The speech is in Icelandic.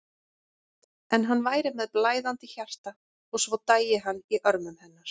En hann væri með blæðandi hjarta og svo dæi hann í örmum hennar.